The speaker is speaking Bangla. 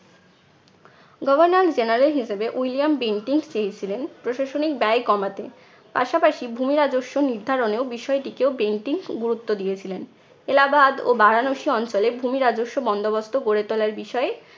governor general হিসেবে উইলিয়াম বেন্টিং চেয়েছিলেন প্রশাসনিক দায় কমাতে। পাশাপাশি ভূমি রাজস্ব নির্ধারণেও বিষয়টিকেও বেন্টিং গুরুত্ব দিয়েছিলেন। এলাহবাদ ও বারানসি অঞ্চলে ভূমি রাজস্ব বন্দোবস্ত গড়ে তোলার বিষয়ে